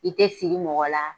I tɛ siri mɔgɔ la,